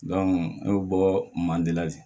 ne bɛ bɔ manden